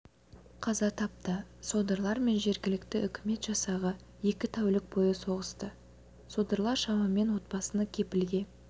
қаза тапты содырлар мен жергілікті үкімет жасағы екі тәулік бойы соғысты содырлар шамамен отбасыны кепілге